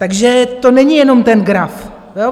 Takže to není jenom ten graf.